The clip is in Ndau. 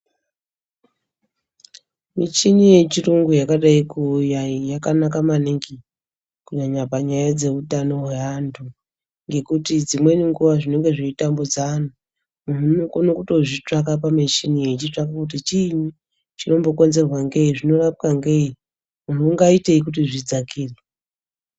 Michini yechirungu yakadai kuuya iyi yakanaka maningi kunyanya panyaya dzeutano hweantu, ngekuti dzimweni nguwa zvinenge zveitambudza antu muntu unokone kutozvitsvaka pamuchini uchitsvake kuti chiini chinombokonzerwa ngei, zvinorapwa ngei muntu ungaitei kuti zvidzakire.